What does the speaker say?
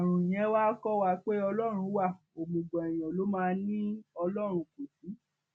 àrùn yẹn wàá kọ wa pé ọlọrun wa òmùgọ èèyàn ló máa ní ọlọrun kò sí